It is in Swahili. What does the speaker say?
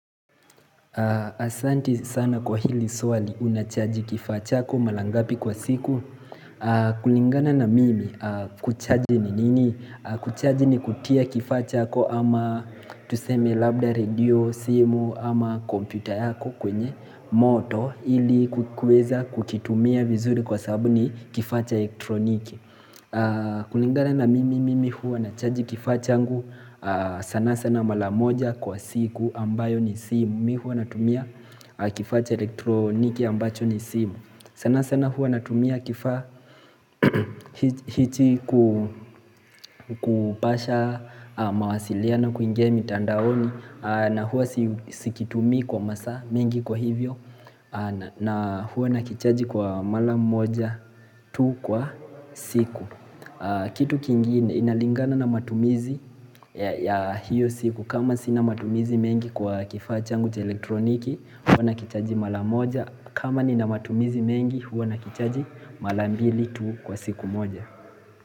Asanti sana kwa hili swali unachaji kifaa chako mara ngapi kwa siku kulingana na mimi kuchaji ni nini Kuchaji ni kutia kifaa chako ama tuseme labda radio simu ama kompyuta yako kwenye moto ili kuweza kukitumia vizuri kwa sababu ni kifaa cha elektroniki kulingana na mimi mimi huwa nachaji kifaa changu sana sana mara moja kwa siku ambayo ni simu Mi hua natumia kifaa cha elektroniki ambacho ni simu sana sana hua natumia kifaa cha hichii kupasha mawasiliano kuingia mitandaoni na hua sikitumii kwa masaa mingi kwa hivyo na hua nakichaji kwa mala moja tu kwa siku Kitu kingine inalingana na matumizi ya hiyo siku kama sina matumizi mengi kwa kifaa changu cha elektroniki huwa nakichaji mara moja kama ni na matumizi mengi huwa nakichaji mara mbili tu kwa siku moja.